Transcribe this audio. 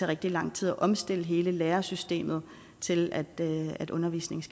rigtig lang tid at omstille hele lærersystemet til at at undervisningen